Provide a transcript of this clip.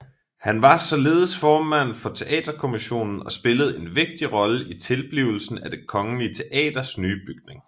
Han var således formand for Teaterkommisionen og spillede en vigtig rolle i tilblivelsen af Det Kongelige Teaters nye bygning